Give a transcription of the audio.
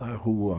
Na rua.